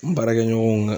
N baarakɛ ɲɔgɔnw kan